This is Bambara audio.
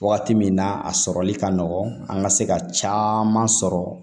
Wagati min na a sɔrɔli ka nɔgɔ an ka se ka caman sɔrɔ